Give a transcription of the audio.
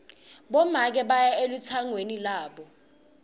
bomake baya elutsangweni lwabo